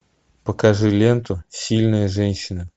покажи ленту сильная женщина